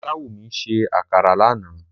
Olawúmí sẹ́ àkàrà lánà